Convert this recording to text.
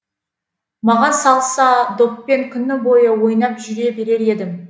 маған салса доппен күні бойы ойнап жүре берер едім